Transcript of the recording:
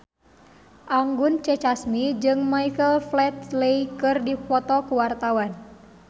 Anggun C. Sasmi jeung Michael Flatley keur dipoto ku wartawan